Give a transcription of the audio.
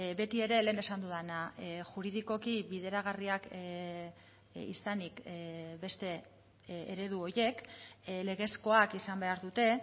beti ere lehen esan dudana juridikoki bideragarriak izanik beste eredu horiek legezkoak izan behar dute